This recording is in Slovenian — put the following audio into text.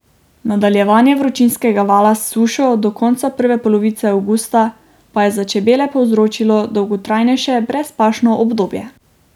Nadaljevanje vročinskega vala s sušo do konca prve polovice avgusta pa je za čebele povzročilo dolgotrajnejše brezpašno obdobje.